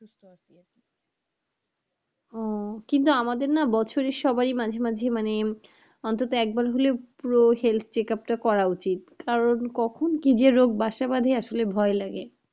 ও কিন্তু না আমাদের না, বছরে সবারই মাঝেমাঝে মানে অন্তত একবার হলেও পুরো health checkup টা করা উচিত কারণ কখন কি যে রোগ বাসা বাঁধে আসলে ভয় লাগে,